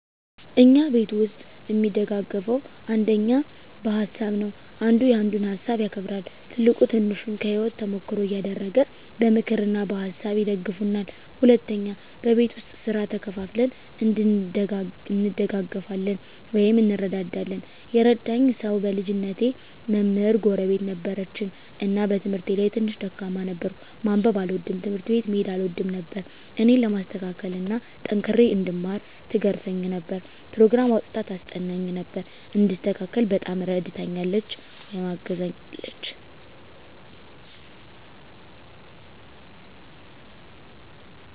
እኛ ቤተሰብ እሚደጋገፈዉ አንደኛ በሀሳብ ነዉ። አንዱ ያንዱን ሀሳብ ያከብራል፣ ትልቁ ትንሹን ከህይወቱ ተሞክሮ እያደረገ በምክር እና በሀሳብ ይደግፉናል። ሁለተኛ በቤት ዉስጥ ስራ ተከፋፍለን እንደጋገፋለን (እንረዳዳለን) ። የረዳኝ ሰዉ በልጅነቴ መምህር ጎረቤት ነበረችን እና በትምህርቴ ላይ ትንሽ ደካማ ነበርኩ፤ ማንበብ አልወድም፣ ትምህርት ቤት መሄድ አልወድም ነበር እኔን ለማስተካከል እና ጠንክሬ እንድማር ትገርፈኝ ነበር፣ ኘሮግራም አዉጥታ ታስጠናኝ ነበር፣ እንድስተካከል በጣም እረድታኛለች(አግዛኛለች) ።